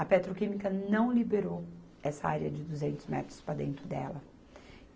A petroquímica não liberou essa área de duzentos metros para dentro dela.